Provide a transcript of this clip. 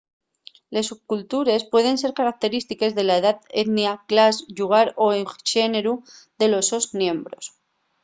les subcultures pueden ser característiques de la edá etnia clas llugar y/o xéneru de los sos miembros